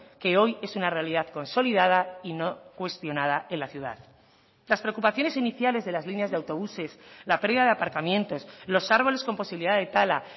que hoy es una realidad consolidada y no cuestionada en la ciudad las preocupaciones iniciales de las líneas de autobuses la pérdida de aparcamientos los árboles con posibilidad de tala